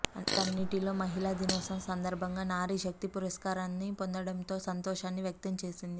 వాటన్నింటిలో మహిళా దినోత్సవం సంద ర్భంగా నారీ శక్తి పురస్కార్ను పొందడంపై సంతో షాన్ని వ్యక్తంచేసింది